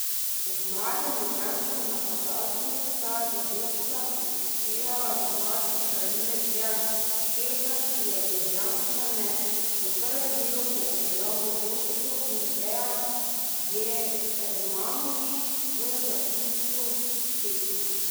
Ob mladem ljubljanskem napadalcu sta zadetka prispevala domači branilec Dejan Kelhar, ki je Ljubljančane v prvem delu popeljal v vodstvo, in Dejan Djermanović v zaključku tekme.